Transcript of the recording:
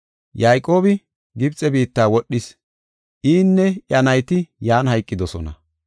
Yayqoobi Gibxe biitta wodhis; inne iya nayti yan hayqidosona.